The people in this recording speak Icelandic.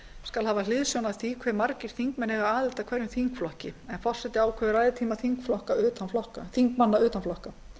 skal hafa hliðsjón af því hve margir þingmenn eiga aðild að hverjum þingflokki en forseti ákveður ræðutíma þingmanna utan flokka